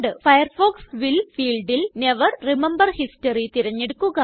Firefox will fieldല് never remember history തിരഞ്ഞെടുക്കുക